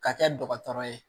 Ka kɛ dɔgɔtɔrɔ ye